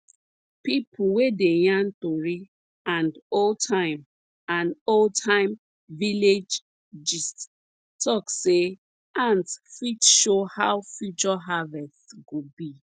pipo wey dey yarn tori and oldtime and oldtime village gist talk say ants fit show how future harvest go be